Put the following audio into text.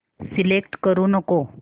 select करू नको